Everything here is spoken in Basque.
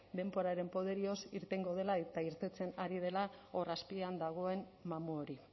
denboraren poderioz irtengo dela eta irteten ari dela hor azpian dagoen mamu hori